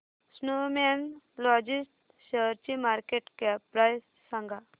Snowman लॉजिस्ट शेअरची market cap price सांगा